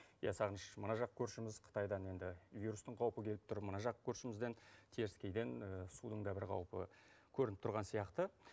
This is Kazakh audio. иә сағыныш мына жақ көршіміз қытайдан енді вирустың қаупі келіп тұр мына жақ көршімізден теріскейден судың да бір қаупі көрініп тұрған сияқты